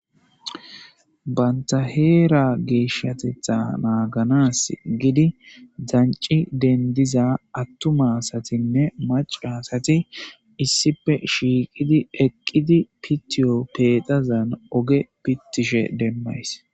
banta heera geeshshatetha naaganas gidi danci dendiza attumasatinne macasati issife shiiqidi eqqidi pittiyo pexazan oge pittishe demmays